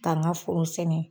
Ka ŋa foro sɛnɛ